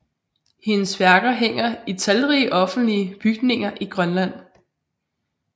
Hendes værker hænger i talrige offentlige bygninger i Grønland